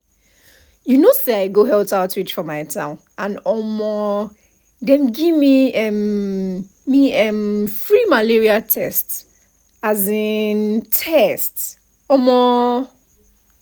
you know say i go health outreach for my town and um dem give um me[um]free malaria tests. um tests. um